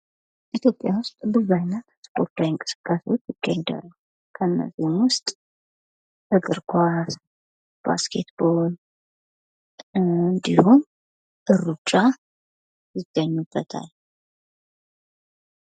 ኢትዮጵያ ውስጥ ብዙ አይነት ስፖርታዊ እንቅስቃሴዎች ይገኛሉ ፤ ከነዚህም ውስጥ እግር ኳስ ፥ ባስኬት ቦል፥ እንዲሁም ሩጫ ይገኛሉ።